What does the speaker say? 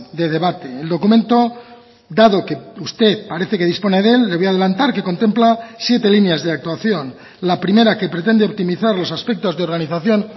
de debate el documento dado que usted parece que dispone de él le voy a adelantar que contempla siete líneas de actuación la primera que pretende optimizar los aspectos de organización